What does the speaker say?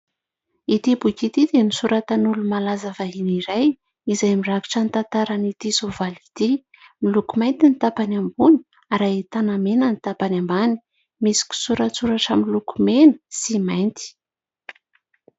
Ity boky ity dia nosoratan'olo-malaza vahiny iray izay mirakitra ny tantaran'ity soavaly ity, miloko mainty ny tapany ambony ary ahitana mena ny tapany ambany, misy kisoratsoratra miloko mena sy mainty.